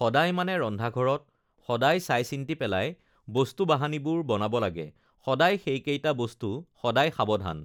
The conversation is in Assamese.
সদায় মানে ৰন্ধা ঘৰত সদায় চাই চিন্তি পেলাই বস্তু বাহানীবোৰ বনাব লাগে সদায় সেইকেইটা বস্তু সদায় সাৱধান